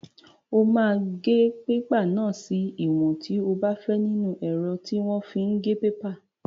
O máa gé pépà náà sí ìwọ̀n tí o bá fẹ́ nínú ẹ̀rọ tí wọ́n fi ń gé pépà.